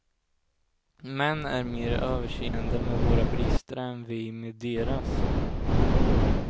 Män är mer överseende med våra brister än vi med deras.